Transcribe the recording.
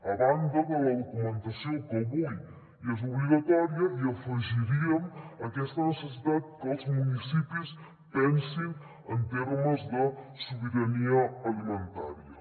a banda de la documentació que avui ja és obligatòria hi afegiríem aquesta necessitat que els municipis pensin en termes de sobirania alimentària